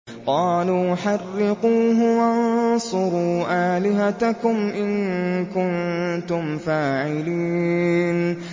قَالُوا حَرِّقُوهُ وَانصُرُوا آلِهَتَكُمْ إِن كُنتُمْ فَاعِلِينَ